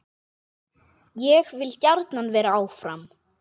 Ég vil gjarnan vera áfram.